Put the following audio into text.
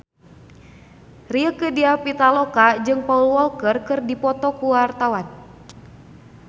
Rieke Diah Pitaloka jeung Paul Walker keur dipoto ku wartawan